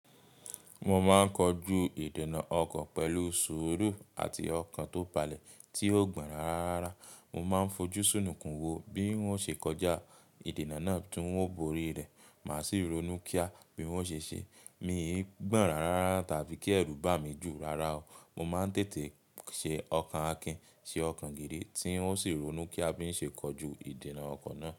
Mo máa ń kojú ìdènà ọkọ̀ pẹ̀lú sùúrù àti ọkàn tó palẹ̀ tí ó gbọ́nra rárá. Mo máa ń fojú súnùkún wo bí wọ́n ṣe kọjá ìdènà náà tí wọ́n bóri rẹ̀. Màá sì ronú kíá bí n o ṣe ṣe. Mí ì gbọ́nra rárá tàbí kí ẹ̀rù bà mí jù rárá o. Mo máa ń tètè ṣe ọkàn Akin, ṣe ọkàn gidi tí ó sì ronú kí a bí ń ṣe kojú ìdènà ọkọ̀ náà.